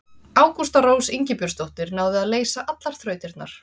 Ágústa Rós Ingibjörnsdóttir náði að leysa allar þrautirnar.